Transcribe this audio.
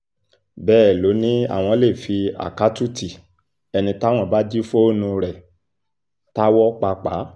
bẹ́ẹ̀ ló ní àwọn lè fi àkáàtútì ẹni táwọn bá jí fóònù rẹ̀ táwọ́ pàápàá